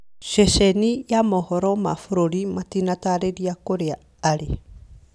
Ceceni ya mohoro ma bũrũri matinatarĩria kũrĩa arĩ.